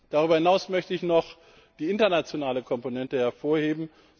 Darüber hinaus möchte ich noch die internationale Komponente hervorheben.